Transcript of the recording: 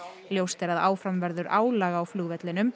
ljóst er að áfram verður álag á flugvellinum